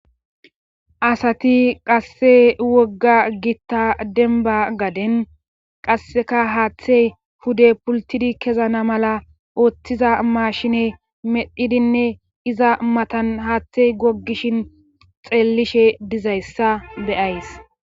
asati qasse wogga gitta denba gaden qasseka haaththe pude pultidi kezana mala ooththiza maashine medhidinne iza matan haaththe goggishin xeellishe dizayssa be7ays